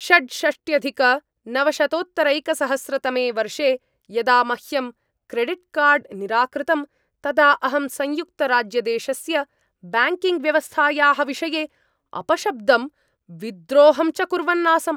षड्षष्ट्यधिकनवशतोत्तरैकसहस्रतमे वर्षे यदा मह्यं क्रेडिट्कार्ड् निराकृतं तदा अहं संयुक्तराज्यदेशस्य ब्याङ्किङ्ग्व्यवस्थायाः विषये अपशब्दं, विद्रोहं च कुर्वन् आसम्।